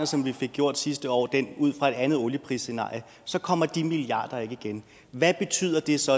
som vi fik gjort sidste år beregner det ud fra et andet olieprisscenarie så kommer de milliarder ikke igen hvad betyder det så